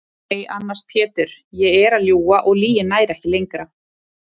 Nei annars Pétur ég er að ljúga og lygin nær ekki lengra.